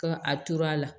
Ka a tor'a la